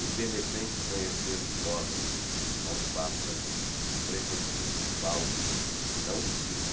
O de repente conhecer-se homem, não pássaro, o pressentir-se fauno, não cisne,